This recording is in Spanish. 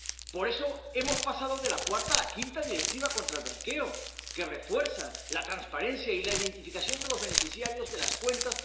Por eso hemos pasado de la cuarta a la quinta Directiva contra el blanqueo, que refuerza la transparencia y la identificación de los beneficiarios de las cuentas